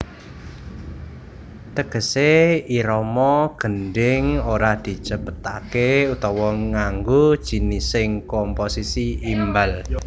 Tegese irama gendhing ora dicepetake utawa nganggo jinising komposisi imbal